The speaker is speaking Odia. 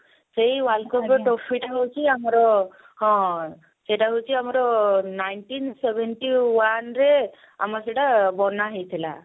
ସେଇ world cup ର trophy ଟା ହଉଛି ଆମର ହଁ ସେଇଟା ହଉଛି ଆମର nineteen seventy one ରେ ଆମର ସେଟା ବନା ହେଇଥିଲା